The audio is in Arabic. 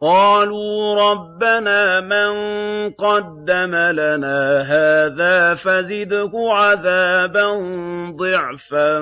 قَالُوا رَبَّنَا مَن قَدَّمَ لَنَا هَٰذَا فَزِدْهُ عَذَابًا ضِعْفًا